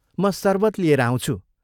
म शरबत लिएर आउँछु।